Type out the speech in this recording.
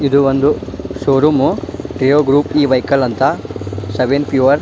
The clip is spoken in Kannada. ಇದು ಒಂದು ಶೋರೂಮ್ ವೆಹಿಕಲ್ ಅಂತ